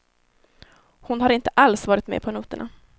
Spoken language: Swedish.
Hon har inte alls varit med på noterna.